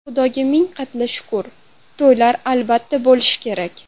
Xudoga ming qatla shukr, to‘ylar albatta bo‘lishi kerak.